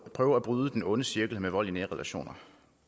prøve at bryde den onde cirkel af vold i de nære relationer